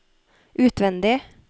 utvendig